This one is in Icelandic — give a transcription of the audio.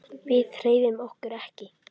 Við hreyfum okkur ekki.